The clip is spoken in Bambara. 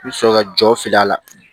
I bɛ sɔrɔ ka jɔ fili a la